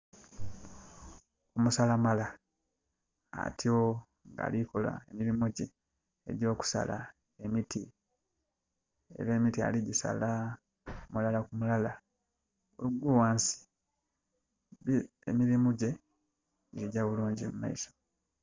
Omusala mala atyo nga alikola emirimo gye egyo kusala emiti era emiti aligisala mulala ku mulala bwe gugwa ghansi. Emirimo gye girikugya bulungi mumaiso.